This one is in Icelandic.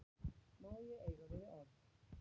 Má ég eiga við þig orð?